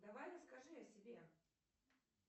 давай расскажи о себе